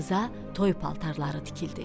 Qıza toy paltarları tikildi.